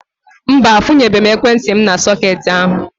Mba, akwunyebe m ekwentị m n'sọketi ahu